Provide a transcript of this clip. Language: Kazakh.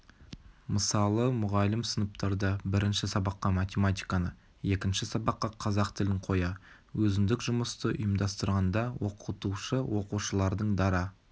мысалы мұғалім сыныптарда бірінші сабаққа математиканы екінші сабаққа қазақ тілін қоя өзіндік жұмысты ұйымдастырғанда оқытушы оқушылардың дара